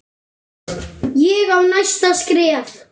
Ég á næsta skref.